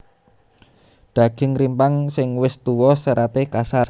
Daging rimpang sing wis tuwa seraté kasar